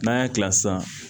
N'an y'a kila sisan